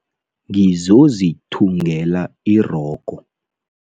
Ngizozithungela irogo.